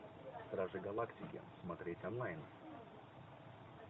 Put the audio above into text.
стражи галактики смотреть онлайн